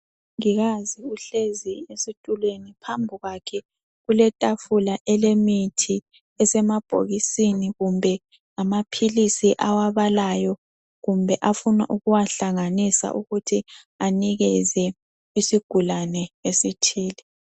Umongikazi uhlezi esitulweni phambi kwakhe kuletafula elemithi esemabhokisini kumbe ngamaphilisi awabalayo kumbe afuna ukuwahlanganisa ukuthi anikeze isigulane esithile.